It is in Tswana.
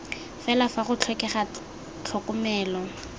fela fa go tlhokega tlhokomelo